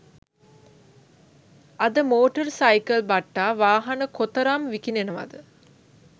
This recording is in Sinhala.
අද මෝටර් සයිකල් බට්ටා වාහන කොතරම් විකිණෙනවද